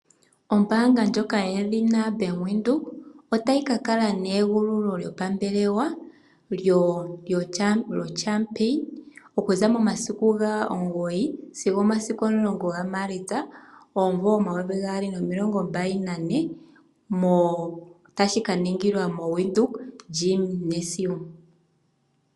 Ombaanga ndjoka yoBank Windhoek otayi ka kala neegululo lyopambelwa lyoNamibian National Junior Open Chees Champions okuza momasiku ga9-10 Maalitsa 2024 tashi ka ningilwa moWindhoek Gymnasium.